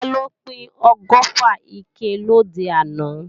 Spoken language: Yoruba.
Taló pín ọgọ́fà ike lòde àná?